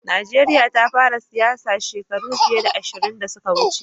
Najeriya ta fara siyasa shekaru fiye da ashirin da suka wuce.